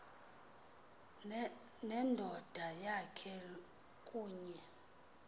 nendoda yakhe kunye